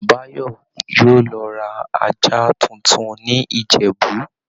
Báyò yóò lọ ra ajá tuntun ní Ìjẹ̀bú